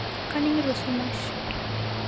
Kaningito sumash